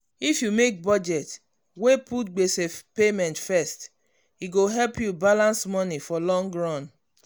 if you make budget wey put gbese payment first e go help you balance money for long run.